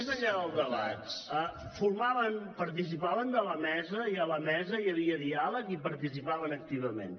més enllà del debat participaven de la mesa i a la mesa hi havia diàleg i hi participaven activament